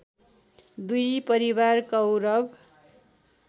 दुई परिवार कौरव